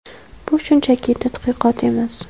Bu shunchaki tadqiqot emas.